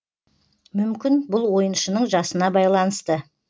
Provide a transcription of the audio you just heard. мүмкін бұл ойыншының жасына байланысты